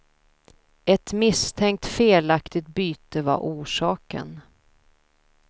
Ett misstänkt felaktigt byte var orsaken.